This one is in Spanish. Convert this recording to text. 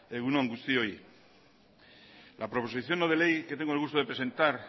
egun on guztioi la proposición no de ley que tengo el gusto de presentar